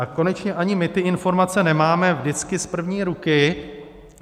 A konečně ani my ty informace nemáme vždycky z první ruky.